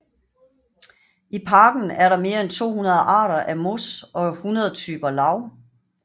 I parken er der mere end 200 arter af mos og 100 typer lav